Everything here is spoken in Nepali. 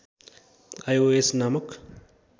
आइओएस नामक